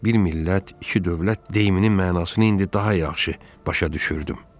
Bir millət, iki dövlət deyiminin mənasını indi daha yaxşı başa düşürdüm.